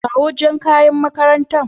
kawo Jan ƙayan maƙarantan.